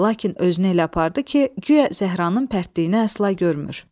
Lakin özünü elə apardı ki, guya Zəhranın pərtliyini əsla görmür.